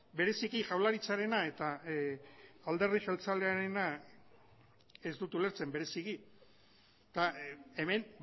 bereziki jaurlaritzarena eta alderdi jeltzalearena ez dut ulertzen bereziki eta hemen